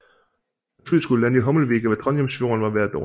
Da flyet skulle lande i Hommelvika ved Trondheimsfjorden var vejret dårligt